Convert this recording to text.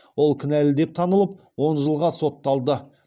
ол кінәлі деп танылып он жылға сотталды